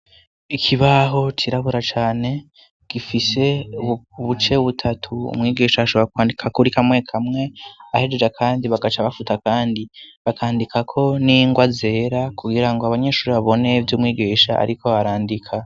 Ikibaho kirabura cane gifise buce butatu umwigisha ashobora kwandika kuri kamwe kamwe ahejeja, kandi bagaca bafuta, kandi bakandikako n'ingoa azera kugira ngo abanyeshuri babone vy' umwigisha, ariko barandika.